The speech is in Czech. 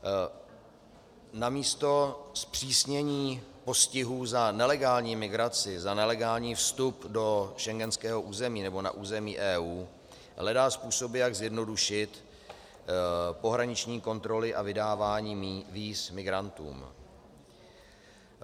Namísto zpřísnění postihů za nelegální migraci, za nelegální vstup do schengenského území nebo na území EU hledá způsoby, jak zjednodušit pohraniční kontroly a vydávání víz migrantům.